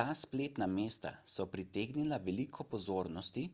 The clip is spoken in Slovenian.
ta spletna mesta so pritegnila veliko pozornosti